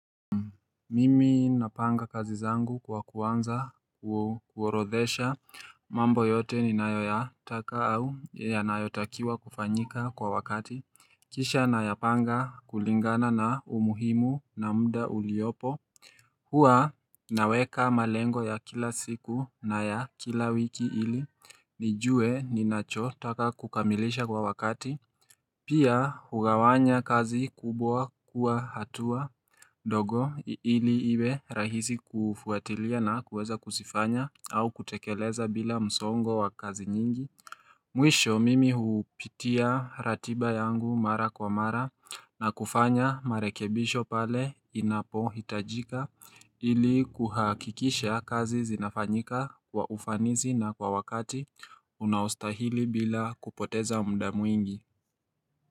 Mimi napanga kazi zangu kwa kuanza kuorodhesha mambo yote ninayoya taka au ya nayotakiwa kufanyika kwa wakati kisha nayapanga kulingana na umuhimu na mda uliopo hua naweka malengo ya kila siku na ya kila wiki ili nijue ninacho taka kukamilisha kwa wakati Pia hugawanya kazi kubwa kuwa hatua dogo ili iwe rahisi kufuatilia na kuweza kusifanya au kutekeleza bila msongo wa kazi nyingi Mwisho mimi hupitia ratiba yangu mara kwa mara na kufanya marekebisho pale inapo hitajika ili kuhakikisha kazi zinafanyika kwa ufanizi na kwa wakati unaustahili bila kupoteza mda muingi.